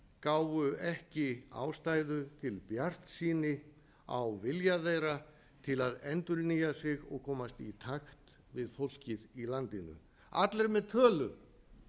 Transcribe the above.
gáfu ekki ástæðu til bjartsýni á vilja þeirra til að endurnýja sig og komast í takt við fólkið í landinu allir með tölu